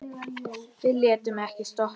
Við létum ekkert stoppa okkur.